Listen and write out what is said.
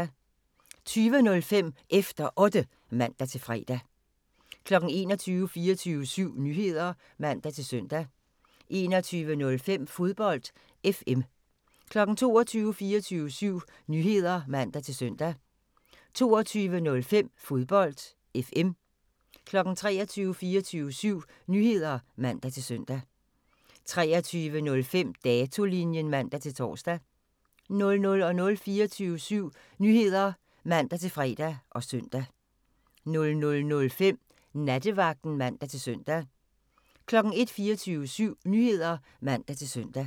20:05: Efter Otte (man-fre) 21:00: 24syv Nyheder (man-søn) 21:05: Fodbold FM 22:00: 24syv Nyheder (man-søn) 22:05: Fodbold FM 23:00: 24syv Nyheder (man-søn) 23:05: Datolinjen (man-tor) 00:00: 24syv Nyheder (man-fre og søn) 00:05: Nattevagten (man-søn) 01:00: 24syv Nyheder (man-søn)